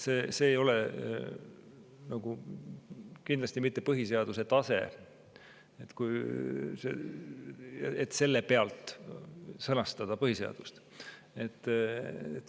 See ei ole kindlasti mitte põhiseaduse tase, et seda sõnastada põhiseaduses.